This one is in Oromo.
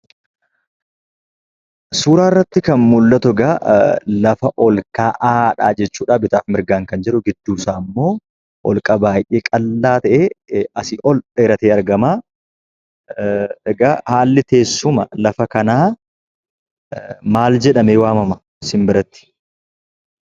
Suura irratti kan mul'atu egaa lafa olka'aadha jechuudha bitaaf mirgaan kan jiru. Gidduu isaa ammoo holqa baay'ee qal'aa ta'e asii ol dheerate argama. Egaa haalli teessuma lafa kanaaa maal jedhamee waamama sinbiratti?